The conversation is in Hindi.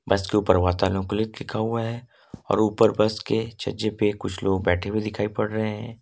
लिखा हुआ है और ऊपर बस के छज्जे पर कुछ लोग बैठे हुए दिखाई पड़ रहे हैं।